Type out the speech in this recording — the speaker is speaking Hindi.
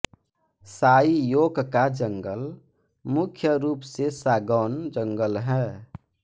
साई योक का जंगल मुख्य रूप से सागौन जंगल है